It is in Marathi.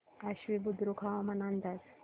आश्वी बुद्रुक हवामान अंदाज